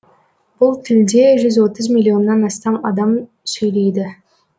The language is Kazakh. бұл тілде жүз отыз миллионнан астам адам сөйлейді